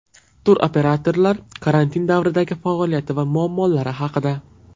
Turoperatorlar karantin davridagi faoliyati va muammolari haqida.